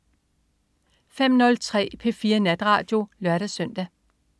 05.03 P4 Natradio (lør-søn)